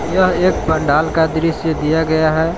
यह एक पंडाल का दृश्य दिया गया है।